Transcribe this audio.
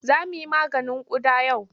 Za mu yi maganin ƙuda yau.